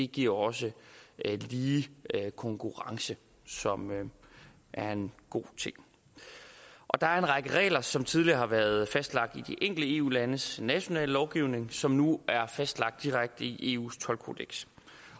giver også lige konkurrence som er en god ting der er en række regler som tidligere har været fastlagt i de enkelte eu landes nationale lovgivning som nu er fastlagt direkte i eus toldkodeks